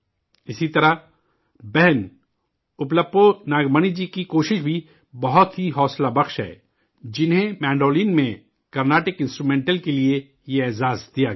اسی طرح، بہن اُپّلو ناگ منی جی کی کوشش بھی بہت ہی متاثرکن ہے، جنہیں مینڈولن میں کارنیٹک انسٹرومینٹل کے لیے یہ انعام دیا گیا ہے